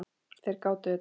Þeir gátu þetta.